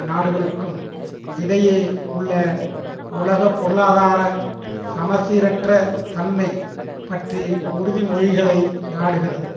நாடுகளுக்கும் இடையே உள்ள உலக பொருளாதார சமசீரற்ற தன்மை பற்றி உறுதிமொழிகளை நாடுகிறது